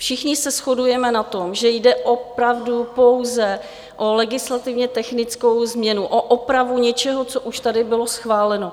Všichni se shodujeme na tom, že jde opravdu pouze o legislativně technickou změnu, o opravu něčeho, co už tady bylo schváleno.